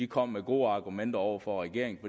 kom med gode argumenter over for regeringen